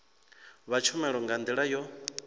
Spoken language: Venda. vha tshumelo nga ndila yo